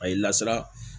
A ye lasara